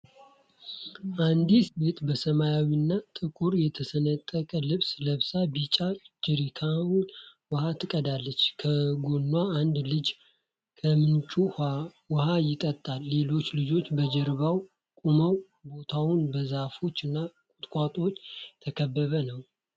አንዲት ሴት በሰማያዊና ጥቁር የተሰነጠቀ ልብስ ለብሳ ቢጫ ጀሪካን ውሃ ትቀዳለች። ከጎኗ አንድ ልጅ ከምንጩ ውሃ ይጠጣል፤ ሌሎች ልጆች በጀርባው ቆመዋል። ቦታው በዛፎች እና ቁጥቋጦዎች የተከበበ ነው።